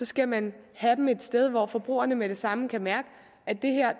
skal man have dem et sted hvor forbrugerne med det samme kan mærke at det her